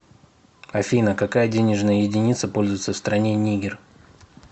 афина какая денежная единица пользуется в стране нигер